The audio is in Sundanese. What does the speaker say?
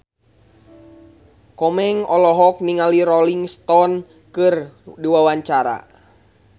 Komeng olohok ningali Rolling Stone keur diwawancara